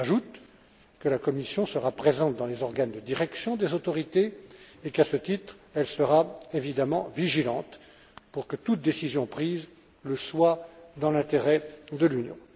J'ajoute que la Commission sera présente dans les organes de direction des autorités et qu'à ce titre, elle sera, évidemment, vigilante pour que toute décision prise le soit dans l'intérêt de l'Union.